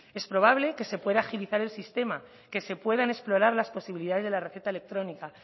es probable que se pueda agilizar el sistema que se puedan explorar las posibilidades de la receta electrónica